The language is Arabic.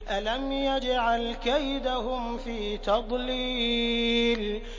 أَلَمْ يَجْعَلْ كَيْدَهُمْ فِي تَضْلِيلٍ